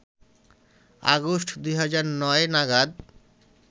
August ২০০৯ নাগাদ